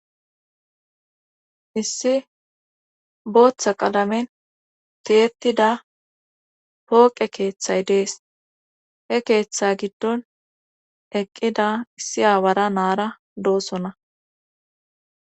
issi booththa qalamen tiyetida pooqe keeththay dees he keeththa giddon eqqida issi aawara naara doosona